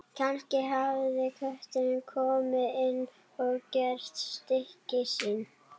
Kannski hafði köttur komist inn og gert stykki sín.